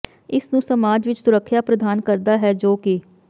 ਇਸ ਨੂੰ ਸਮਾਜ ਵਿਚ ਸੁਰੱਖਿਆ ਪ੍ਰਦਾਨ ਕਰਦਾ ਹੈ ਜੋ ਕਿ